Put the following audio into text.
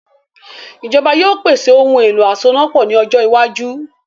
Ìjọba yóò pèsè “ ohun-èlo asonápọ̀” ní ọjọ iwájú